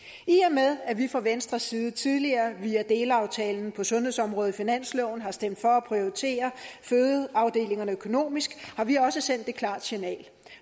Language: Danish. med at vi fra venstres side tidligere via delaftalen på sundhedsområdet i finansloven har stemt for at prioritere fødeafdelingerne økonomisk har vi også sendt et klart signal